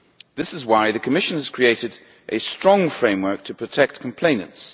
This is why the Commission has created a strong framework to protect complainants.